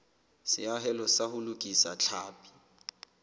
seahelo sa ho lokisa tlhapi